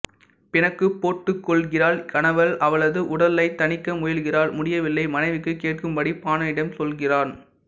பிணக்குப் போட்டுக்கொள்கிறாள் கணவன் அவளது ஊடலைத் தணிக்க முயல்கிறான் முடியவில்லை மனைவிக்குக் கேட்கும்படி பாணனிடம் சொல்கிறான்